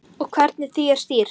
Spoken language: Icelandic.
Og hvernig því er stýrt.